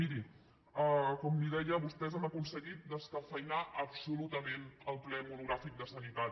miri com li deia vostès han aconseguit descafeïnar absolutament el ple monogràfic de sanitat